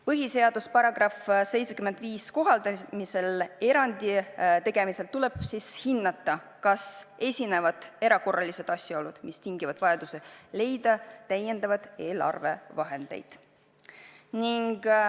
Põhiseaduse § 75 kohaldamisel erandi tegemisel tuleb hinnata, kas esinevad erakorralised asjaolud, mis tingivad vajaduse leida täiendavaid eelarvevahendeid.